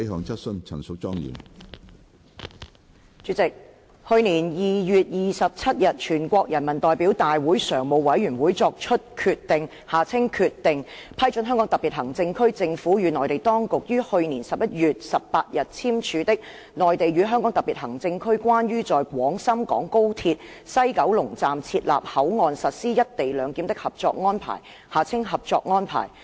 主席，去年12月27日，全國人民代表大會常務委員會作出決定，批准香港特別行政區政府與內地當局於去年11月18日簽署的《內地與香港特別行政區關於在廣深港高鐵西九龍站設立口岸實施"一地兩檢"的合作安排》。